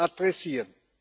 adressieren.